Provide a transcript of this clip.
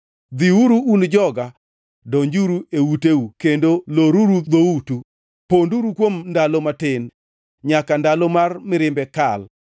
Dhiuru, un joga, donjuru e uteu kendo loruru dhoutu, ponduru kuom ndalo matin nyaka ndalo mar mirimbe kal.